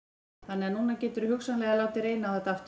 Una: Þannig að núna geturðu hugsanlega látið reyna á þetta aftur?